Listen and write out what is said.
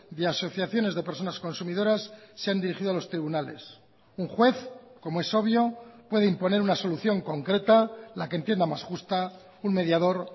de asociaciones de personas consumidoras se han dirigido a los tribunales un juez como es obvio puede imponer una solución concreta la que entienda más justa un mediador